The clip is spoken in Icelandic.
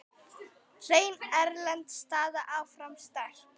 Hrein erlend staða áfram sterk.